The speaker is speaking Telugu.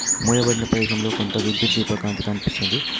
మూయబడిన ప్రదేశంలో కొంత విద్యుత్ దీప కాంతి కనిపిస్తుంది.